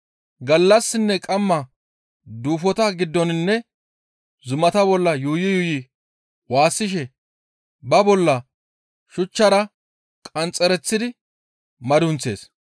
Gallassinne qamma duufota giddoninne zumata bolla yuuyi yuuyi waassishe ba bolla shuchchara qanxxereththidi madunththees.